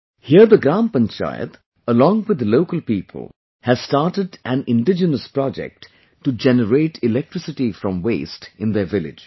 Here the Gram Panchayat along with the local people has started an indigenous project to generate electricity from waste in their village